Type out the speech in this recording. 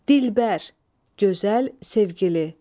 Dilbər, gözəl, sevgili.